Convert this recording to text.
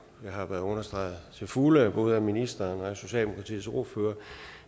været understreget til fulde af både ministeren og socialdemokratiets ordfører